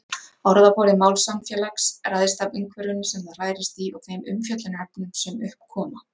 Orðaforði málsamfélags ræðst af umhverfinu sem það hrærist í og þeim umfjöllunarefnum sem upp koma.